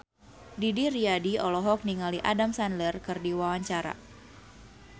Didi Riyadi olohok ningali Adam Sandler keur diwawancara